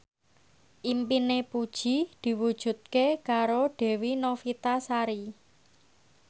impine Puji diwujudke karo Dewi Novitasari